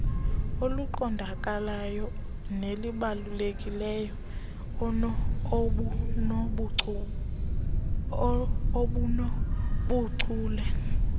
eliqondakalayo nelibalulekileyo obunobuchule